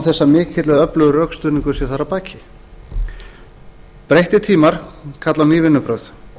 mikill eða öflugur rökstuðningur sé þar að baki breyttir tímar kalla á ný vinnubrögð